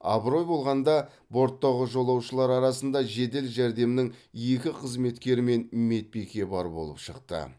абырой болғанада борттағы жолаушылар арасында жедел жәрдемнің екі қызметкері мен медбике бар болып шықты